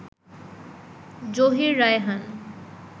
Zahir Raihan